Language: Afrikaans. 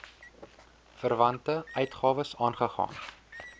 verwante uitgawes aangegaan